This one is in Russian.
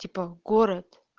типа город